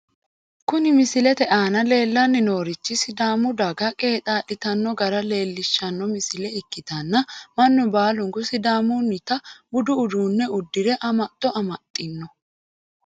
Kuni misilete aana leellanni noorichi sidaamu daga qeexaa'litanno gara leellishshanno misile ikkitanna, mannu baalunku sidaamunnita budu uddano uddire amaxxo amaxxino.